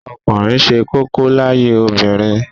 Ọkùnrin ṣe kókó láyé obìnrin